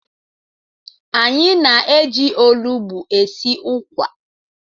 Anyị na-eji olụgbụ esi ukwa.